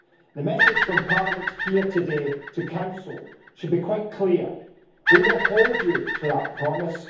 The message from Parliament here today to the Council should be quite clear we will hold you to that promise.